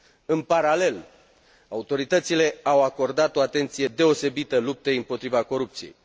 În paralel, autoritățile au acordat o atenție deosebită luptei împotriva corupției.